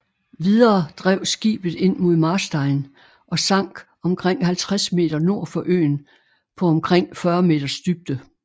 Videre drev skibet ind mod Marstein og sank omkring 50 meter nord for øen på omkring 40 meters dybde